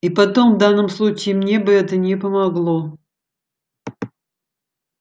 и потом в данном случае мне бы это не помогло